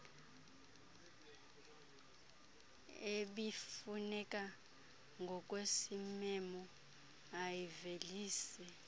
ebifuneka ngokwesimemo ayivelise